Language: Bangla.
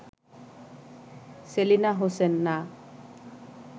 সেলিনা হোসেন: না